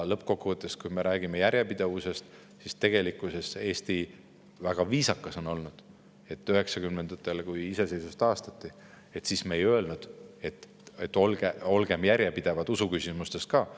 Lõppkokkuvõttes, kui me räägime järjepidevusest, siis tegelikkuses on Eesti olnud väga viisakas, sest 1990-ndatel, kui iseseisvus taastati, me ei öelnud, et olgem järjepidevad usuküsimustes ka.